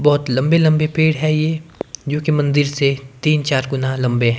बहोत लंबे लंबे पेड़ हैं ये जोकि मंदिर से तीन चार गुना लंबे हैं।